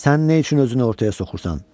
Sən nə üçün özünü ortaya soxursan?